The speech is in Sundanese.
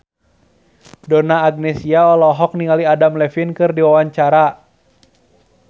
Donna Agnesia olohok ningali Adam Levine keur diwawancara